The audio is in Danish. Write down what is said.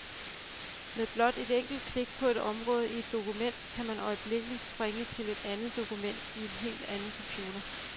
Med blot et enkelt klik på et område i et dokument, kan man øjeblikkeligt springe til et andet dokument, i en helt anden computer.